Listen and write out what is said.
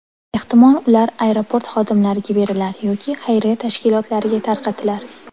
Ehtimol ular aeroport xodimlariga berilar yoki xayriya tashkilotlariga tarqatilar?